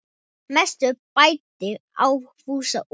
Mest mæddi á Fúsa og